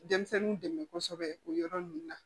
Denmisɛnninw dɛmɛ kosɛbɛ o yɔrɔ nunnu na